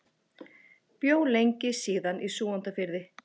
Bjó lengi síðan í Súgandafirði.